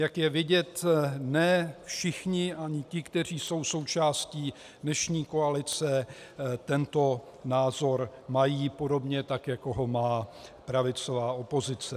Jak je vidět, ne všichni, ani ti, kteří jsou součástí dnešní koalice, tento názor mají podobně tak, jako ho má pravicová opozice.